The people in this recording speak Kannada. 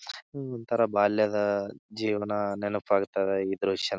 ಒಂತರ ಬಾಲ್ಯದ ಜೀವನ ನೆನೆಪಾಗ್ತದ ಈ ದ್ರಶ್ಯ --